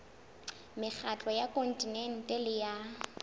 mekgatlo ya kontinente le ya